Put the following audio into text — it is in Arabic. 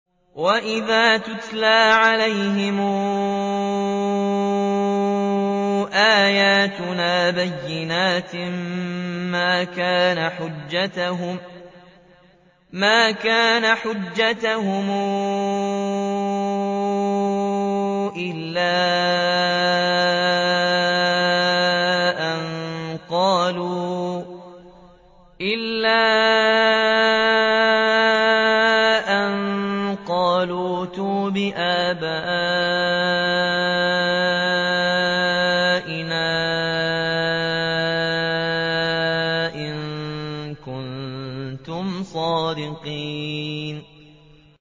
وَإِذَا تُتْلَىٰ عَلَيْهِمْ آيَاتُنَا بَيِّنَاتٍ مَّا كَانَ حُجَّتَهُمْ إِلَّا أَن قَالُوا ائْتُوا بِآبَائِنَا إِن كُنتُمْ صَادِقِينَ